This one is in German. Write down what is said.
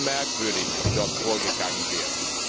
Es ist schon merkwürdig, wie dort vorgegangen wird.